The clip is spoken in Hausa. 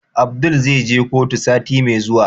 Abdul zai je kotu sati Mai zuwa?